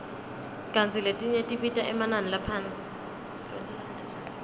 kantsi letinye tibita emanani laphasi